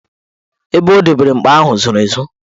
Ebe o dobere mkpa ahụ zoro ezo.